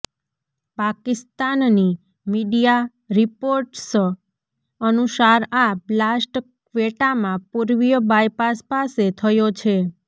Pakistani media reports અનુસાર આ blast ક્વેટામાં પૂર્વીય બાયપાસ પાસે થયો છે